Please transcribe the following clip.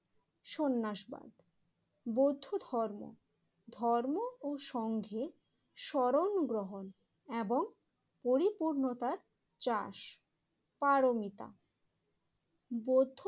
সন্ন্যাসবাদ বৌদ্ধ ধর্ম ধর্ম ও সঙ্ঘে স্বরণ গ্রহণ এবং পরিপূর্ণতার চাষ পারমিতা বৌদ্ধ